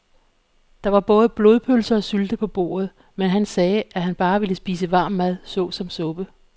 Der var både blodpølse og sylte på bordet, men han sagde, at han bare ville spise varm mad såsom suppe.